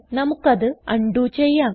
നമുക്കത് ആൺഡു ചെയ്യാം